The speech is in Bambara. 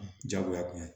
jagoya kɔnɔ